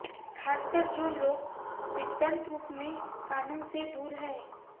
खासकर जो लोग सिद्धांत रूप में कानून से दूर हैं